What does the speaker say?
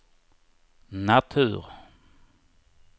natur